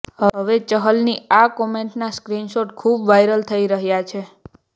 હવે ચહલની આ કોમેન્ટના સ્ક્રીનશોટ ખૂબ વાયરલ થઈ રહ્યા છે